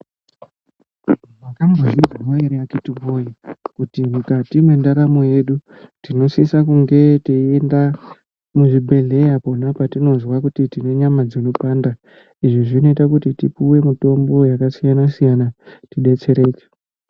Mwakambozvizwawo ere atete woyee kuti mukati mwendaramo yedu tinosisa kunge teienda kuzvibhendleya kwona kwatinozwa kuti tine nyama dzinopanda. Izvi zvinoita kuti tipuwe mitombo yakasiyana siyana tidetsereke.